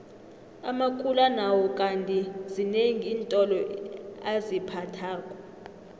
amakula nawo kandi zinengi iintolo aziphathako